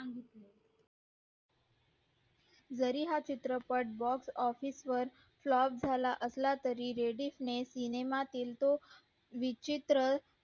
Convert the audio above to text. जरी हा चित्रपट boss office वर flop झाला असला तरी रेबीस ने सिनेमातील तो विचित्र